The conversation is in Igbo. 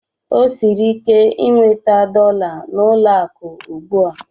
O siri ike inweta dọla n'ụlọ akụ ugbu a.